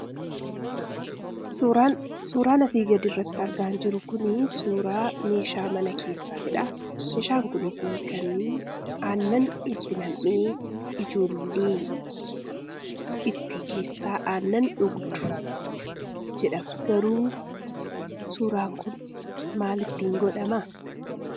Suuraan asii gadirratti argaa jirru kuni, suuraa meeshaa mana keessatidha. Meeshaan kunis, kan aannan itti nam'ee ijoolleen itti keessaa aannan dhugdu jedhama. Garuu suuraan kun maal ittiin godhamaa?